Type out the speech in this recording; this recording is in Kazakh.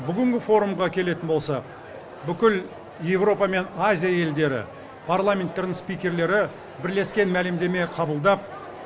бүгінгі форумға келетін болсақ бүкіл еуропа мен азия елдері парламенттерінің спикерлері бірлескен мәлімдеме қабылдап